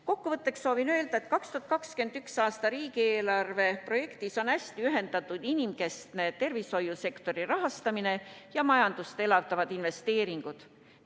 Kokkuvõtteks soovin öelda, et 2021. aasta riigieelarve projektis on hästi ühendatud inimkeskne tervishoiusektori rahastamine ja majandust elavdavad investeeringud.